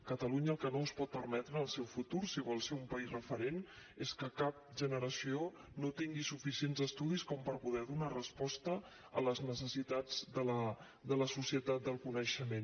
catalunya el que no es pot permetre en el seu futur si vol ser un país referent és que cap generació no tingui suficients estudis com per poder donar resposta a les necessitats de la societat del coneixement